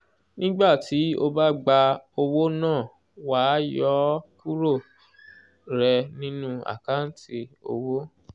nígbà tí o bá gba owó náà wàá yọ ọ́ kúrò rẹ̀ nínú àkántì owó